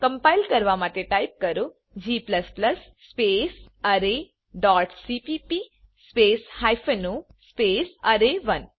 compile કરવા માટે type કરો g space array dot CPP space hyphen o space અરે1